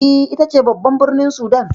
E, ita ce babban birnin Sudan.